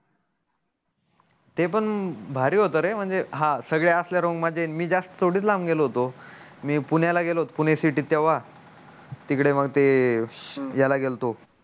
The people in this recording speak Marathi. ते पण भारी होत रे म्हणजे हा असल्या मध्ये मी जास्त थोडी लांब गेलो होतो मी पुण्या ल गेलो पुणे सिटी तेव्हा तिकडे मग ते याला गेलतो